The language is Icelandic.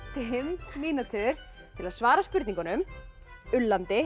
fimm mínútur til að svara spurningunum